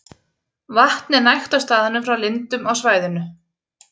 Vatn er nægt á staðnum frá lindum á svæðinu.